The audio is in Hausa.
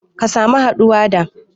Ka samu haɗuwa da